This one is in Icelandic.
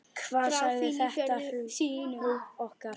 Hvað sagði þetta hrun okkur?